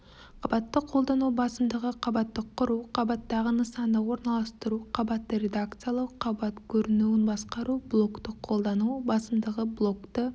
қабатты қолдану басымдығы қабатты құру қабаттағы нысанды орналастыру қабатты редакциялау қабат көрінуін басқару блокты қолдану басымдығы блокты